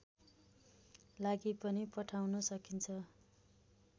लागि पनि पठाउन सकिन्छ